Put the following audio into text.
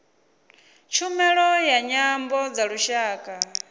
tshumelo ya nyambo dza lushaka